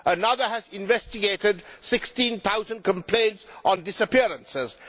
another has investigated 16000 complaints on disappearances